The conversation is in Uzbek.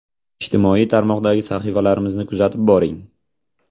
Ijtimoiy tarmoqlardagi sahifalarimizni kuzatib boring.